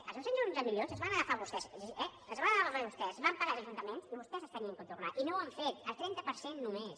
els dos cents i onze milions els van agafar vostès eh els van agafar vostès van pagar als ajuntaments i vostès els havien de tornar i no ho ha fet el trenta per cent només